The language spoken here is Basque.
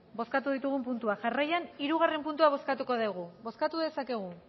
bozkatu ditugun puntuak jarraian hirugarrena puntua bozkatuko dugu bozkatu dezakegu